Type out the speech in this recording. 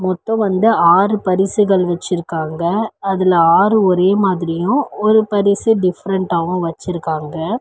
மொத்தோ வந்து ஆறு பரிசுகள் வெச்சிருக்காங்க அதுல ஆறு ஒரே மாதிரியு ஒரு பரிசு டிப்ரண்டாவு வச்சிருக்காங்க.